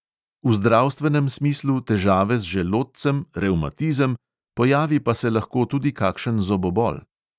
V zdravstvenem smislu težave z želodcem, revmatizem, pojavi pa se lahko tudi kakšen zobobol.